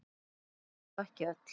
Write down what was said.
Sagan er þó ekki öll.